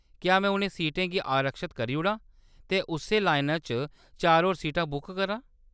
क्या में उ'नें सीटें गी आरक्षत करी ओड़ां ते उस्सै लाइना च चार होर सीटां बुक करां ?